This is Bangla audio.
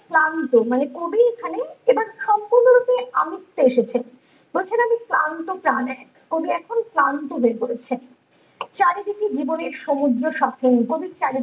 ক্লান্ত মানে কবি এখানে সম্পূর্ণ রূপে আমিত্বে এসেছেন বলছেন আমি ক্লান্ত প্রাণে কবি এখন ক্লান্ত হয়ে পড়েছেন চারিদিকে জীবনের সমুদ্র সকেন কবির চারিদিক